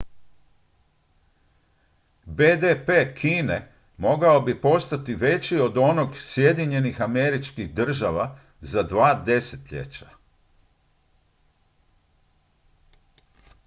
bdp kine mogao bi postati veći od onog sjedinjenih američkih država za dva desetljeća